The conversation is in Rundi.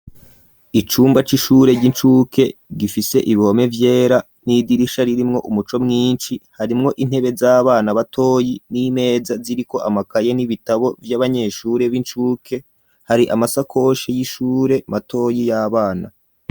Icumba c'ishure, ry'incuke, gifise ibihome vyera, n'idirisha ririmwo, umuco mwinshi; harimwo intebe, z'abana batoyi, n'imeza ziriko amakaye, n'ibitabo, vy'abanyeshure b'incuke; hari amasakoshe y'ishure, matoyi, y'abana.